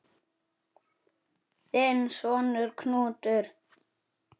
Þinn sonur, Knútur.